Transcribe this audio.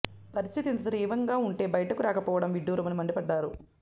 పరిస్థితి ఇంత తీవ్రంగా ఉంటే బయటకు రాకపోవడం విడ్డూరమని మండిపడ్డారు